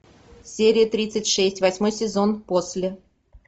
серия тридцать шесть восьмой сезон после